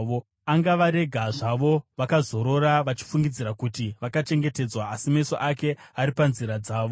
Angavarega zvavo vakazorora vachifungidzira kuti vakachengetedzwa; asi meso ake ari panzira dzavo.